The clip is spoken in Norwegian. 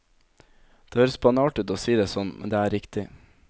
Det høres banalt ut å si det sånn, men det er riktig.